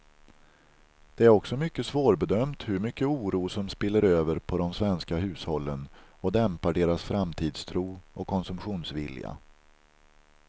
Det är också svårbedömt hur mycket oro som spiller över på de svenska hushållen och dämpar deras framtidstro och konsumtionsvilja.